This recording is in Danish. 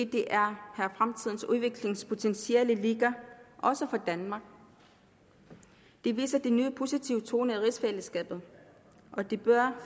det er her fremtidens udviklingspotentiale ligger også for danmark det viser de nye positive toner der rigsfællesskabet og det bør